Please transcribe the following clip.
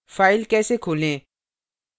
file कैसे खोलें